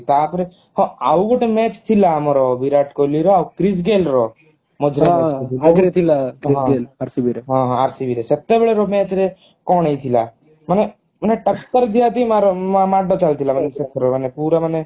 ତାପରେ ହଁ ଆଉ ଗୋଟେ match ଥିଲା ଆମର ବିରାଟ କୋହଲିର ଆଉ ମଝିରେ ଥିଲା RCB RCB ରେ ସେତେବେଳେର match ରେ କଣ ହେଇଥିଲା ମାନେ ମାନେ ଟକ୍କର ଦିଆ ଦିଇ ମାଡ ଚାଲି ଥିଲା ପୁରା ମାନେ